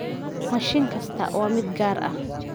Mashiin kasta waa mid gaar ah.